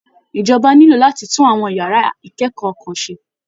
Ìjọba nílò láti tún àwọn yàrá ìkẹ́kọ̀ọ́ kan ṣe